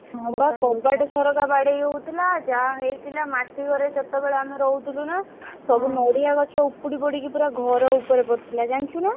ହଁ ବା କବାଟ ଝରକା ବାଡେଇ ହଉଥିଲା ଯାହା ହେଇଥିଲା ମାଟି ଘରେ ସେତେବେଳେ ଆମେ ରହୁଥିଲୁ ନା ସବୁ ନଡିଆ ଗଛ ଉପୁଡି ପଡିକି ପୁରା ଘର ଉପରେ ପଡିଥିଲା ଜାଣିଛୁ ନା?